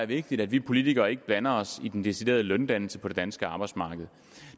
vigtigt at vi politikere ikke blander os i den deciderede løndannelse på det danske arbejdsmarked